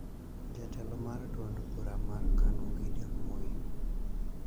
Jatelo mar duond bura mar KANU Gideon Moi